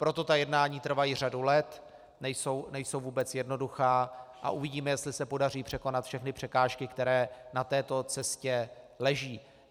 Proto ta jednání trvají řadu let, nejsou vůbec jednoduchá a uvidíme, jestli se podaří překonat všechny překážky, které na této cestě leží.